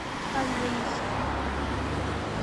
алейск